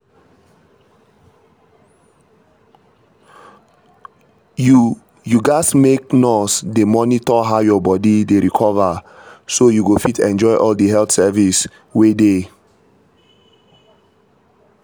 you you gatz make nurse dey monitor how your body dey recover so you go fit enjoy all di health service wey dey.